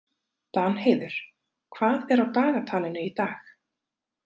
Danheiður, hvað er á dagatalinu í dag?